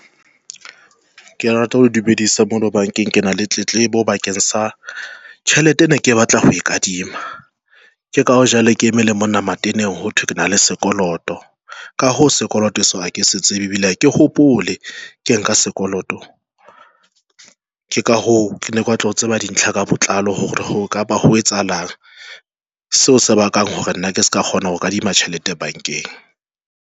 Ke rata ho dumedisa mona bankeng. Kena le tletlebo bakeng sa tjhelete e ne ke batla ho e kadima ke ka ho jwale ke eme le monna mateneng ho thwe ke na le sekoloto. Ka ho sekoloto seo ha ke setsebe ebile ha ke hopole ke nka sekoloto.Ke ka ho ke ne batla ho tseba dintlha ka botlalo hore e ka ba ho etsahalang seo se bakang hore nna ke se ka kgona ho kadima tjhelete bankeng.